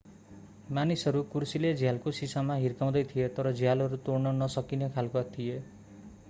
मानिसहरू कुर्सीले झ्यालको शिशामा हिर्काउँदै थिए तर झ्यालहरू तोड्न नसकिने खालका थिए